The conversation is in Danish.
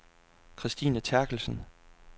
Kristine Therkelsen